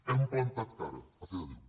hem plantat cara a fe de déu